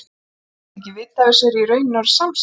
Ef ég læt ekki vita af þessu er ég í rauninni orðin samsek.